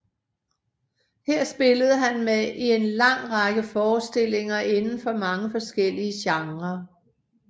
Her spillede han med i en lang række forestillinger inden for mange forskellige genrer